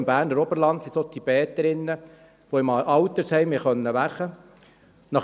Im Berner Oberland sind es solche Tibeterinnen, die im Altersheim arbeiten können.